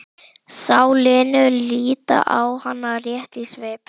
Sá Lenu líta á hana rétt í svip.